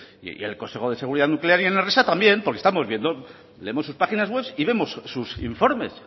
y en el consejo de seguridad nuclear y en enresa también porque estamos viendo leemos sus páginas webs y vemos sus informes